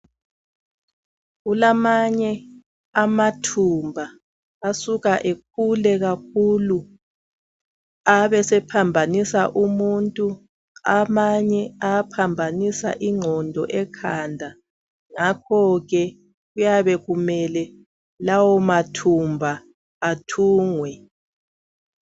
Kulamanye amathumba asuka ekhule kakhulu abesephambanisa umuntu. Amanye ayaphambanisa ingqondo ekhanda ngakho ke kuyabe kumele lawo mathumba ethungwe.